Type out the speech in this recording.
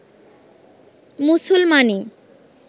মুসলমানি